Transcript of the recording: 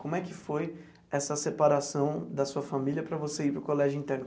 Como é que foi essa separação da sua família para você ir para o colégio interno?